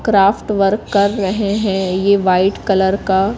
craft work कर रहे हैं ये व्हाईट कलर का--